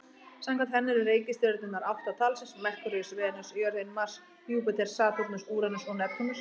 Samkvæmt henni eru reikistjörnurnar átta talsins: Merkúríus, Venus, jörðin, Mars, Júpíter, Satúrnus, Úranus og Neptúnus.